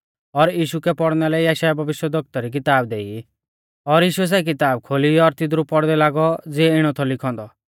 और यीशु कै पौड़ना लै यशायाह भविष्यवक्ता री किताब देई और यीशुऐ सै किताब खोली और तिदरु पौड़दै लागौ ज़िऐ इणौ थौ लिखौ औन्दौ